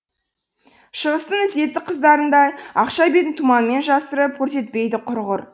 шығыстың ізетті қыздарындай ақша бетін тұманмен жасырып көрсетпейді құрғыр